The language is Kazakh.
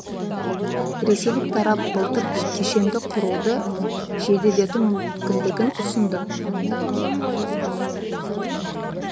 ресейлік тарап былтыр кешенді құруды жеделдету мүмкіндігін ұсынды